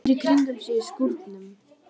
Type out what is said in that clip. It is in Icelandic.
Lítur í kringum sig í skúrnum.